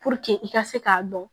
i ka se k'a dɔn